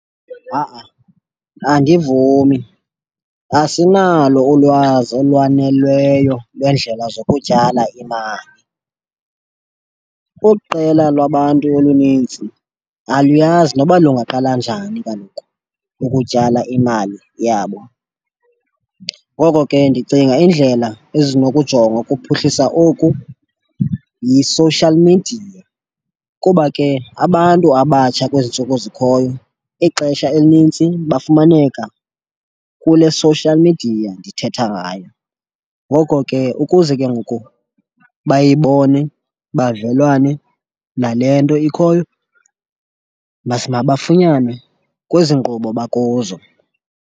Ha-a andivumi, asinalo ulwazi olwanelweyo lwendlela zokutyala imali. Uqela lwabantu oluninzi aluyazi noba lungaqala njani kaloku ukutyala imali yabo. Ngoko ke ndicinga indlela ezinokujongwa ukuphuhlisa oku yi-social media kuba ke abantu abatsha kwezi ntsuku zikhoyo ixesha elinintsi bafumaneka kule social midiya ndithetha ngayo. Ngoko ke ukuze ke ngoku bayibone bavelwane nale nto ikhoyo mabafunywane kwezi nkqubo bakuzo.